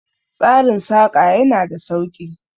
Tsarin Saƙa ya na da sauki